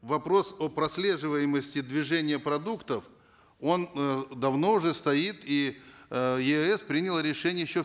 вопрос о прослеживаемости движения продуктов он э давно уже стоит и э еаэс принял решение еще